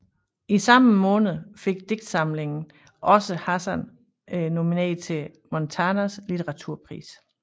I samme måned fik digtsamlingen også Hassan nomineret til Montanas Litteraturpris